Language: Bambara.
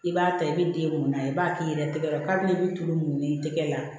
I b'a ta i bɛ den mun na i b'a k'i yɛrɛ tɛgɛ la kabini tulu mun i tɛgɛ la